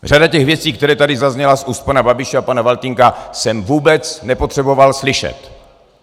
Řadu těch věcí, které tady zazněly z úst pana Babiše a pana Faltýnka, jsem vůbec nepotřeboval slyšet.